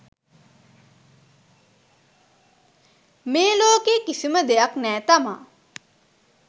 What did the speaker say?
මේ ලෝකේ කිසිම දෙයක් නෑ තමා